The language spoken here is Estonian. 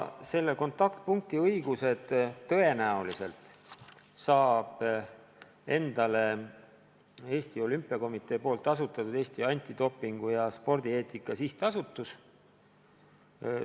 Selle kontaktpunkti õigused tõenäoliselt saab endale Eesti Olümpiakomitee asutatud Eesti Antidopingu ja Spordieetika Sihtasutus.